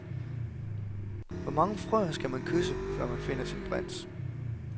Hvor mange frøer skal man kysse, før man finder sin prins.